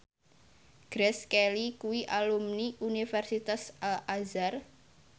Grace Kelly kuwi alumni Universitas Al Azhar